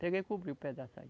Peguei e cobri o pedaço aí.